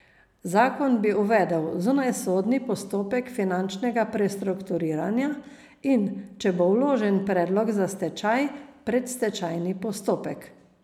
Zakon bi uvedel zunajsodni postopek finančnega prestrukturiranja in, če bo vložen predlog za stečaj, predstečajni postopek.